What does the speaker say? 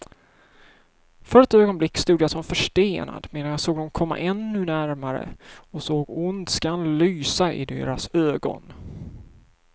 För ett ögonblick stod jag som förstenad, medan jag såg dem komma ännu närmare och såg ondskan lysa i deras ögon.